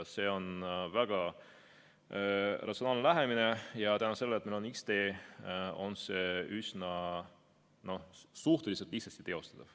See on väga ratsionaalne lähenemine ja tänu sellele, et meil on X-tee, on see suhteliselt lihtsasti teostatav.